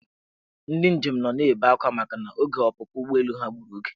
Ndị njem nọ na-ebe akwa makana oge ọpụpụ ụgbọelu ha gburu oge.